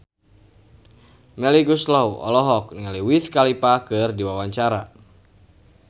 Melly Goeslaw olohok ningali Wiz Khalifa keur diwawancara